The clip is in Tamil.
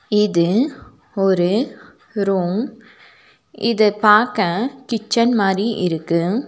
இது ஒரு ரூம் இது பாக்க கிட்சன் மாரி இருக்கு.